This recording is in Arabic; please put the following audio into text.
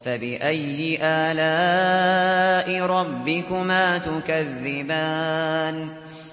فَبِأَيِّ آلَاءِ رَبِّكُمَا تُكَذِّبَانِ